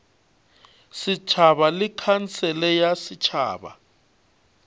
setšhaba le khansele ya setšhaba